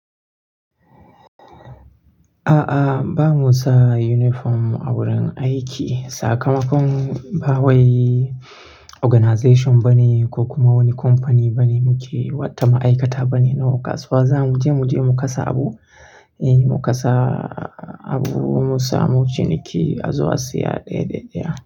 A'a, ba mu sa uniform a wurin aiki. Sakamakon ba wai organization bane ko kuma woni company bane muke, wata ma'aikata bane. No kasuwa za mu je, mu je mu kasa abu, eh mu kasa abu, mu samu ciniki, a zo a siya ɗaya-ɗaya.